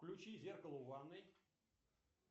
включи зеркало в ванной